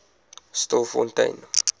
stilfontein